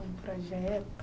Um projeto?